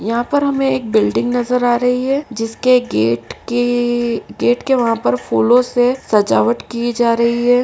यहाँ पर हमें एक बिल्डिंग नज़र आ रही है जिसके गेट के गेट के वहां पर फूलों से सजावट की जा रही है।